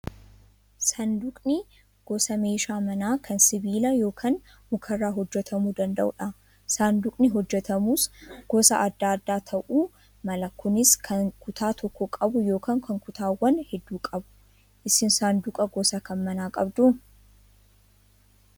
Saanduqni gosa meeshaa manaa kan sibiila yookaan mukarraa hojjatamuu danda'udha. Saanduqni hojjatamus gosa adda addaa ta'uu mala kunis kan kutaa tokko qabu yookaan kan kutaawwan hedduu qabu. Isin saanduqa gosa kam manaa qabduu?